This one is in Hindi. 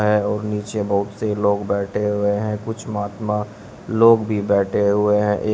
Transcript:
है और नीचे बहुत से लोग बैठे हुए हैं कुछ महात्मा लोग भी बैठे हुए हैं।